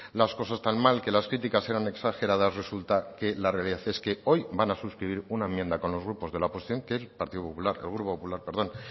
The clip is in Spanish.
las cosas tan mal que las críticas eran exageradas resulta que la realidad es que hoy van a suscribir una enmienda con los grupos de la oposición que el grupo popular